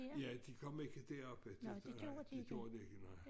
Ja de kom ikke deroppe det gjorde de ikke nej